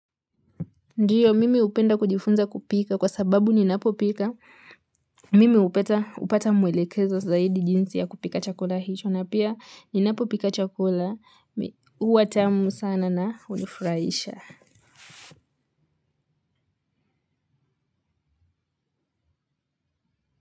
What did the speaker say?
Ndiyo, mimi upenda kujifunza kupika kwa sababu ninapo pika, mimi upata upata mwelekezo zaidi jinsi ya kupika chakula hicho, na pia ninapo pika chakula, huwatamu sana na unifuraisha.